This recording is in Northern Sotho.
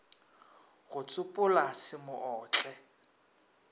go tsopola se mo otle